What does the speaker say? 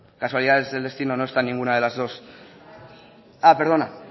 casualidades del destino no están en ninguna de las dos ah perdona